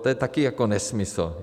To je také jako nesmysl.